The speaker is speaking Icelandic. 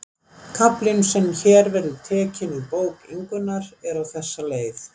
Kaflinn sem hér verður tekinn úr bók Ingunnar er á þessa leið